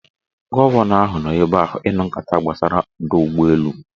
Gọvanọ ahụ nọ ebe ahụ ịnụ nkata gbasara ọdọụgbọelu